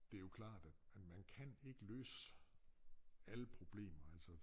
Det jo klart at man kan ikke løse alle problemer altså